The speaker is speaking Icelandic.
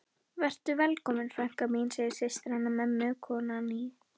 Vertu velkomin frænka mín, segir systir hennar mömmu, konan í